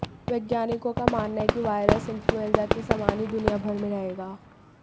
वैज्ञानिकों का मानना है कि वायरस इंफ्लुएंजा के समान ही दुनियाभर में रहेगा